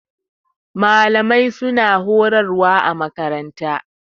Malamai su na horarwa a makaranta